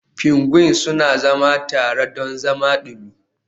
Pingwin suna zama tare don zama dumi.